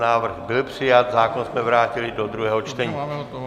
Návrh byl přijat, zákon jsme vrátili do druhého čtení.